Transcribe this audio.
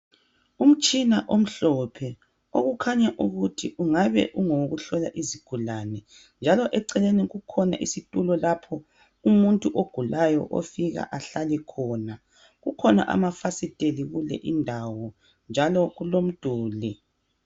Umtshina omhlophe, okukhanya ukuthi ungabe ungowokuhlola izigulane, njalo eceleni kukhona isitulo lapho umuntu ogulayo ofika ahlale khona. Kukhona amafasiteli kule indawo, njalo kulomduli.